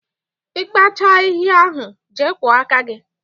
Ị kpachaa ahịhịa ahụ, jee kwọọ aka gị!